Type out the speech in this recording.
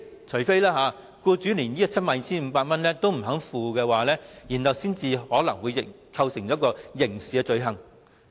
除非僱主連 72,500 元也不肯繳付，才有機會構成刑事罪行。